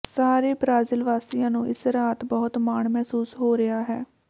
ਸਾਰੇ ਬ੍ਰਾਜੀਲ ਵਾਸੀਆਂ ਨੂੰ ਇਸ ਰਾਤ ਬਹੁਤ ਮਾਣ ਮਹਿਸੂਸ ਹੋ ਰਿਹਾ ਹੈ